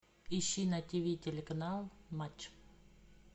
ищи на тв телеканал матч